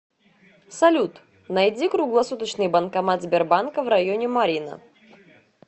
салют найди круглосуточный банкомат сбербанка в районе марьино